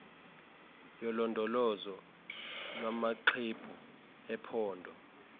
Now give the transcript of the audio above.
yolondolozo lwamaxwebhu ephondo